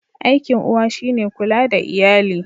Aikin uwa shi ne kula da iyali.